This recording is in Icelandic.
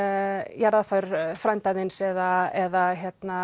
jarðaför frænda þíns eða eða